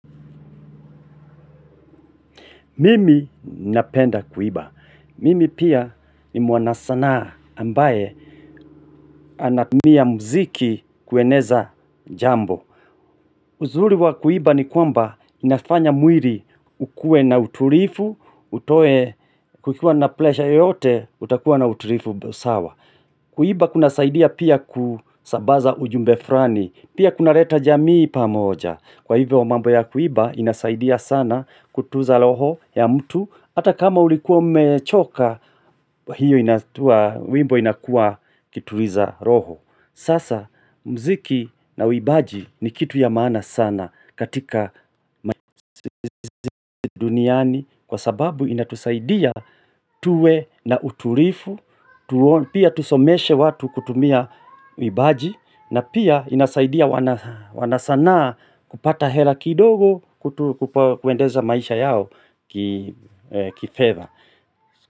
Mimi napenda kuiba. Mimi pia ni mwanasanaa ambaye anatumia muziki kueneza jambo. Uzuri wa kuimba ni kwamba inafanya mwili ukuwe na utulivu, utoe kukuwa na presha yote utakuwa na utulivu sawa. Kuimba kunasaidia pia kusambaza ujumbe fulani, pia kunaleta jamii pamoja. Kwa hivyo mambo ya kuimba inasaidia sana kutunza roho ya mtu, ata kama ulikuwa umechoka, wimbo inakuwa kituliza roho. Sasa mziki na uimbaji ni kitu ya maana sana katika duniani kwa sababu inatusaidia tuwe na utulivu, na pia tusomeshe watu kutumia uimbaji na pia inasaidia wanasanaa kupata hela kidogo kuendeza maisha yao kifeva.